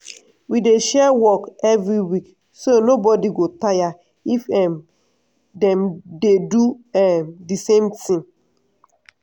we dey share work every week so nobodi go tire if um dem dey do um di same thing.